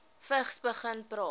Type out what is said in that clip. vigs begin praat